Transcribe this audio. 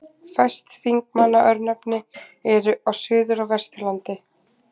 Fæst Þingmanna-örnefni eru á Suður- og Vesturlandi.